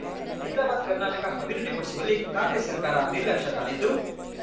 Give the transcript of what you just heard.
ಹೈದರಾಬಾದ್ಕರ್ನಾಟಕ ಅಭಿವೃದ್ಧಿಪಡಿಸುವಲ್ಲಿ ಕಾಂಗ್ರೆಸ್ ಸರ್ಕಾರ ನಿರ್ಲಕ್ಷ್ಯ ತಾಳಿದ್ದು